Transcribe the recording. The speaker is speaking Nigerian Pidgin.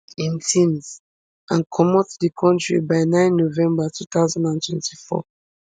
im tins and comot di kontri by nine november two thousand and twenty-four